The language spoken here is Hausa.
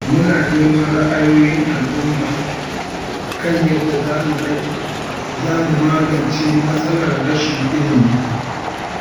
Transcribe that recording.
Muna neman ra'ayoyin al’umma kan yadda za mu magance matsalar rashin ilimi.